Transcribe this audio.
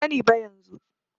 Ban sani ba yanzu.